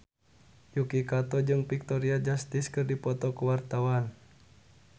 Yuki Kato jeung Victoria Justice keur dipoto ku wartawan